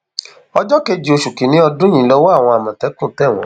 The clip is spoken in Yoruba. ọjọ kejì oṣù kìnínní ọdún yìí lowó àwọn àmọtẹkùn tẹ wọn